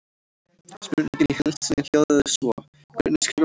Spurningin í heild sinni hljóðaði svo: Hvernig skrifar maður bók?